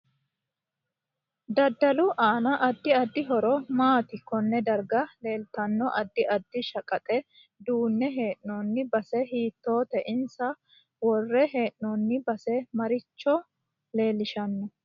DAdalu aano addi addi horo maati konne darga leeltano addi addi shaqaxe duune heenooni base hiitoote insa worre heenooni base maricho leelishanno